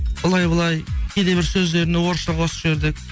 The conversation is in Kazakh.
былай былай кейде бір сөздеріне орысша қосып жібердік